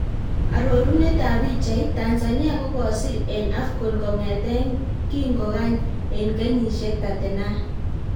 Arorunet ab pichait: Tanzania kokosir en AFCON kong'eten kingogany en kenyisiek 39